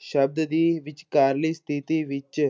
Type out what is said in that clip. ਸ਼ਬਦ ਦੀ ਵਿਚਕਾਰਲੀ ਸਥਿੱਤੀ ਵਿੱਚ